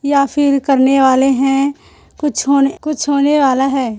या फिर करने वाले है कुछ होने कुछ होने वाला है।